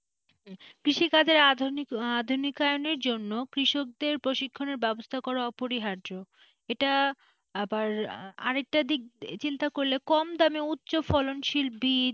কৃষিকাজের আধুনিকআধুনিকায়নের জন্য কৃষকদের প্রশিক্ষণের ব্যবস্থা করা অপরিহার্য এটা আবার আরেকটা দিক চিন্তা করলে কম দামে উচ্চ ফলনশীল বীজ,